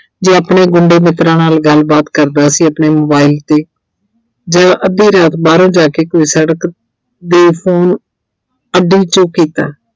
ਜੋ ਆਪਣੇ ਗੁੰਡੇ ਮਿੱਤਰਾਂ ਨਾਲ ਗੱਲਬਾਤ ਕਰਦਾ ਸੀ ਆਪਣੇ mobile 'ਤੇ ਜਦੋਂ ਅੱਧੀ ਰਾਤ ਬਾਹਰੋਂ ਜਾ ਕੋਈ ਸੜਕ ਦੇ phone 'ਚੋਂ ਕੀਤਾ।